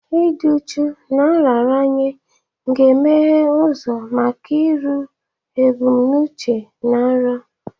Ịdị uchu na nraranye ga-emeghe ụzọ maka iru ebumnuche na nrọ.